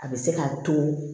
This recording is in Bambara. A bɛ se k'a to